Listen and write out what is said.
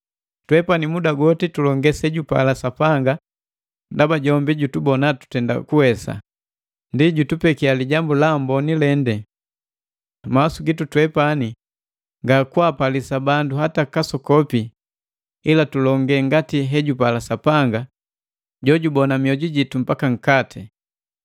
Twepani muda goti tulonge sejupala Sapanga ndaba jombi jutubona tutenda kuwesa, ndi jutupekia Lijambu la Amboni lende. Mawasu gitu twepani nga kwaapalisa bandu hata kasokopi ila tulonge ngati hejupala Sapanga jojubona mioju jitu mbaka nkati.